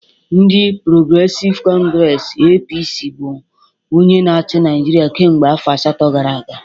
Ndị Porogresive Congresi (APC) bụ onye na-achị Naijiria kemgbe afọ asatọ gara aga